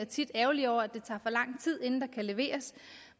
tit ærgerlig over at det tager for lang tid inden der kan leveres